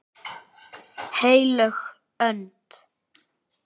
HEILÖG ÖND